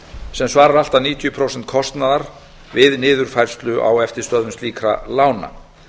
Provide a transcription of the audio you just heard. sem svarar allt að níutíu prósent kostnaðar við niðurfærslu á eftirstöðvum slíkra lána